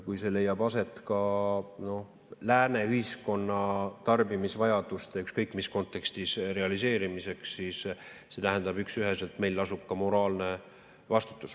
Kui see leiab aset Lääne ühiskonna tarbimisvajaduste realiseerimiseks, ükskõik mis kontekstis, siis see tähendab üksüheselt, et meil lasub moraalne vastutus.